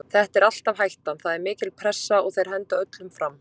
Þetta er alltaf hættan, það er mikil pressa og þeir henda öllum fram.